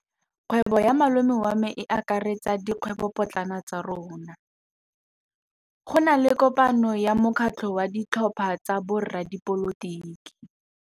Kgwêbô ya malome wa me e akaretsa dikgwêbôpotlana tsa rona. Go na le kopanô ya mokgatlhô wa ditlhopha tsa boradipolotiki.